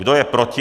Kdo je proti?